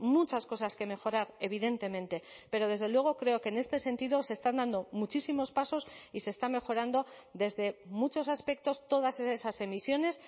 muchas cosas que mejorar evidentemente pero desde luego creo que en este sentido se están dando muchísimos pasos y se está mejorando desde muchos aspectos todas esas emisiones